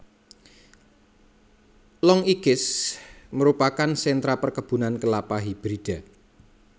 Long Ikis merupakan sentra perkebunan Kelapa Hibrida